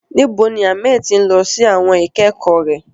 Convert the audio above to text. Níbo ni Ahmed ti ń lọ sí àwọn ìkẹ́kọ̀ọ́ rẹ̀?